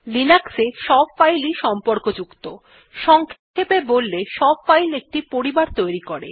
লিনাক্সে সব ফাইল ই সম্পর্ক যুক্ত সংক্ষেপে বললে সব ফাইল একটি পরিবার তৈরী করে